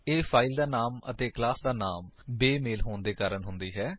ਇਹ ਫਾਇਲ ਦਾ ਨਾਮ ਅਤੇ ਕਲਾਸ ਦਾ ਨਾਮ ਬੇਮੇਲ ਹੋਣ ਦੇ ਕਾਰਨ ਹੁੰਦੀ ਹੈ